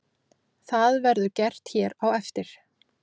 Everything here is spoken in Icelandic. Það verður gert hér á eftir.